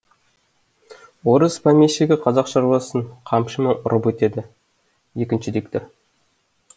орыс помещигі қазақ шаруасын қамшымен ұрып өтеді екінші диктор